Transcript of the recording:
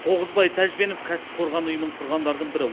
тоғызбай тәжбенов кәсіпқорған ұйымын құрғандардың бірі